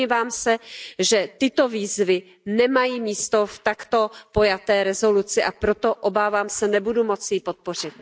Domnívám se, že tyto výzvy nemají místo v takto pojaté rezoluci, a proto, obávám se, nebudu moci ji podpořit.